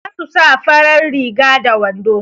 za su sa farar riga da wando